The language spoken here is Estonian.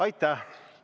Aitäh!